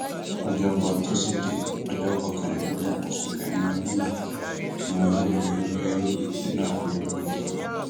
ọjọkọ toṣídéé ọjọ kọkànlélógún oṣù kẹrin ọdún yìí ni wọn yóò fẹẹrù fún eérú nínú ààfin olùkọyí